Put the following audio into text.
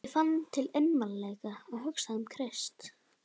Ég fann til einmanaleika og hugsaði um Krist.